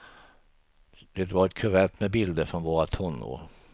Det var ett kuvert med bilder från våra tonår.